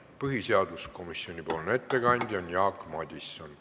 Põhiseaduskomisjoni nimel teeb ettekande Jaak Madison.